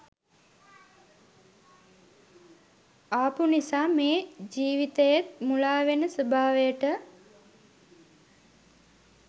ආපු නිසා මේ ජීවිතයේත් මුලාවෙන ස්වභාවයට